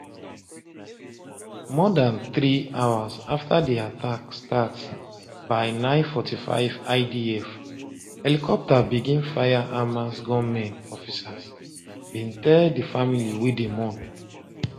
more dan three hours afta di attack start by0945 idf helicopter begin fire hamas gunmen officers bin tell di family wey dey mourn